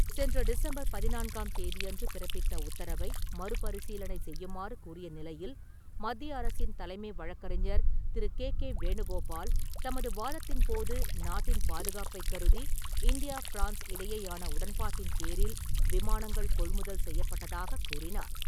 சென்ற டிசம்பர் பதினான்காம் தேதியன்று பிறப்பித்த உத்தரவை மறுபரிசீலனை செய்யுமாறு கூறிய நிலையில் மத்திய அரசின் தலைமை வழக்கறிஞர் திரு. கே. கே. வேணுகோபால், தமது வாதத்தின் போது நாட்டின் பாதுகாப்பை கருதி இந்தியா ஃபிரான்ஸ் இடையேயான உடன்பாட்டின் பேரில் விமானங்கள் கொள்முதல் செய்யப்பட்டதாகக் கூறினார்.